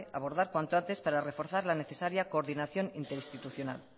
abordar cuando antes para reforzar la necesaria coordinación interinstitucional